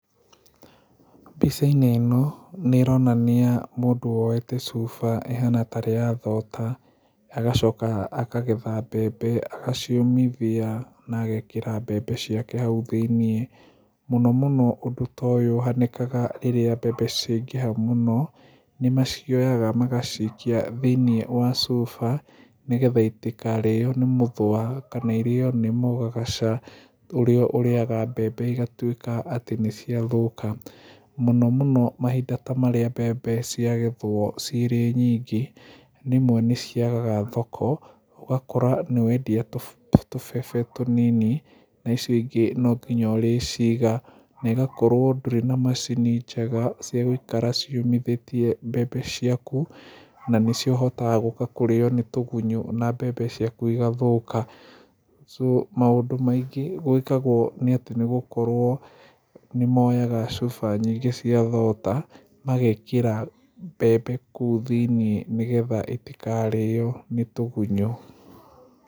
Mbicainĩ ĩno nĩ ĩronania mũndũ woyete cuba ĩhana tarĩ ya thota agacoka akagetha mbembe agaciũmithia na agekĩra mbembe ciake hau thĩiniĩ, mũno mũno ũndũ ta ũyũ ũhanĩkaga rĩrĩa mbembe cĩaingĩha mũno nĩ macioyaga magacikia thĩiniĩ wa cuba nĩgetha itikarĩo nĩ mũthũa kana irĩo nĩ mũgagaca ũrĩa ũrĩaga mbembe igatuĩka atĩ nĩ ciathũka. Mũno mũno mahinda ta marĩa mbembe cirĩ nyingĩ rĩmwe nĩ ciagaga thoko ũgakora nĩ wendia tũmbembe tũnini na icio ingĩ no nginya ũrĩciga na ĩgakorwo ndũrĩ na macini cia gũikara ciũmithĩtie mbembe ciaku na nĩ cihotaga gũka kũrĩo nĩ tũgunyo na mbembe ciaku igathũka so maũndũ maingĩ gwĩkagwo nĩ atĩ nĩ gũkorwo nĩ moyaga cuba nyingĩ cia thota magekĩra mbembe kuũ thĩiniĩ nĩgetha itikarĩo ni tũgunyũ.